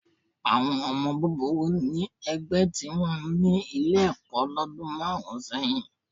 Àwọn ọmọ búburú ní ẹgbẹ́ tìwọn ní Ilé-ẹ̀kọ́ lọ́dún márùn-ún sẹ́yìn